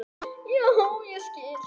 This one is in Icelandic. Já, ég skil